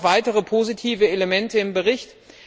Es sind auch noch weitere positive Elemente im Bericht.